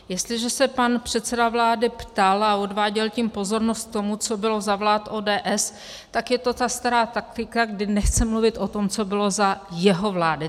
Jestliže se pan předseda vlády ptal a odváděl tím pozornost k tomu, co bylo za vlád ODS, tak je to ta stará taktika, kdy nechce mluvit o tom, co bylo za jeho vlády.